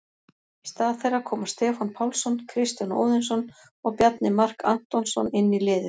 Í stað þeirra koma Stefán Pálsson, Kristján Óðinsson og Bjarni Mark Antonsson inn í liðið.